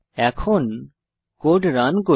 এখন code run করি